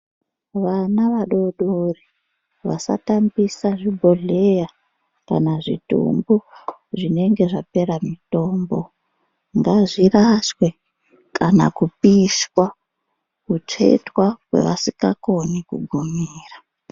Vana vadodori vasatambisa zvibhodhleya kana zvitumbu zvinenge zvapera mitombo. Ngazvirashwe, kana kupishwa, kutsvetwa kwevasikakoni kugumira.